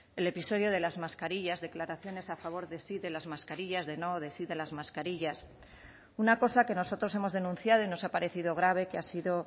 el episodio de las mascarillas declaraciones a favor de sí de las mascarillas de no de sí de las mascarillas una cosa que nosotros hemos denunciado y nos ha parecido grave que ha sido